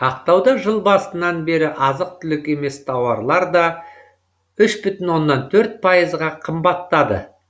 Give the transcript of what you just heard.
ақтауда жыл басынан бері азық түлік емес тауарлар да үш бүтін оннан төрт пайызға қымбаттады